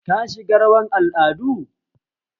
Ka shiga rawar al'ada?